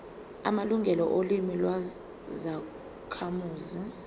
amalungelo olimi lwezakhamuzi